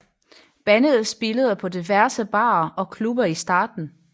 Bandet spillede på diverse barer og klubber i starten